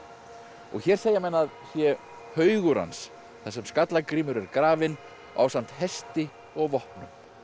og hér segja menn að sé haugur hans þar sem Skallagrímur er grafinn ásamt hesti og vopnum